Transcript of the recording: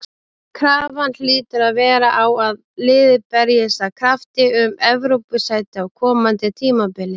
Krafan hlýtur að vera á að liðið berjist af krafti um Evrópusæti á komandi tímabili.